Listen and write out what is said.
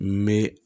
N bɛ